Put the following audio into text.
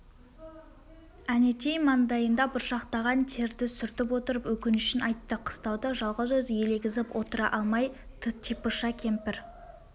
әнетей маңдайында бұршақтаған терді сүртіп отырып өкінішін айтты қыстауда жалғыз өзі елегізіп отыра алмай типыша кемпір